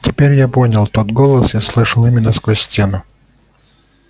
теперь я понял тот голос я слышал именно сквозь стену